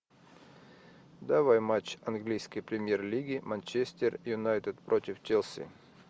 давай матч английской премьер лиги манчестер юнайтед против челси